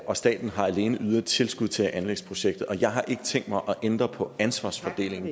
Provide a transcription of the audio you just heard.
og staten har alene ydet tilskud til anlægsprojektet og jeg har ikke tænkt mig at ændre på ansvarsfordelingen